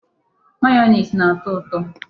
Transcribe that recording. Mayonezi na-ato uto.